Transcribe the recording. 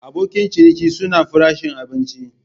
Abokin ciniki suna farashin abinci.